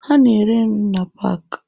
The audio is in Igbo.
Ha na-ere nri na paaki.